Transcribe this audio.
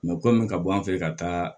kɔmi ka bɔ an fɛ ka taa